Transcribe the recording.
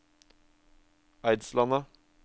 Eidslandet